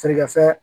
Feerekɛ fɛn